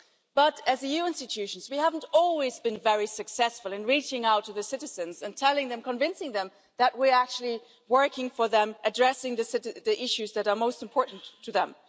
But as EU institutions we haven't always been very successful in reaching out to the citizens and telling them, convincing them, that we are actually working for them, addressing the issues that are most important to them.